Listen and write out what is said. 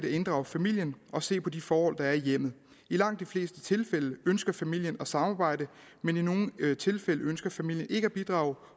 at inddrage familien og se på de forhold der er i hjemmet i langt de fleste tilfælde ønsker familien at samarbejde men i nogle tilfælde ønsker familien ikke at bidrage